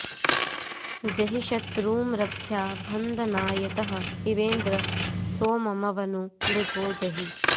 ज॒हि शत्रू॑ँर॒भ्या भ॑न्दनाय॒तः पिबे॑न्द्र॒ सोम॒मव॑ नो॒ मृधो॑ जहि